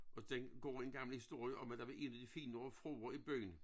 Og den går en gammel historie om at der var en af de finere fruer i byen